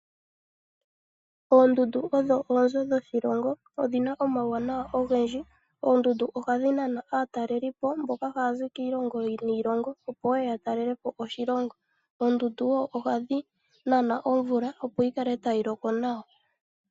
Oondundu odho oonzo dhoshihilongo. Odhina omawuwanawa ogendji. Oondundu ohadhi nana aatalelipo mboka haya zi kiilongo niilongo opo wo yatalelepo oshilongo. Oondundu wo ohadhi nana omvula opo yi kale tayi loko nawa.